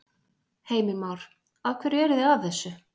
Heimir Már: Af hverju eru þið að þessu?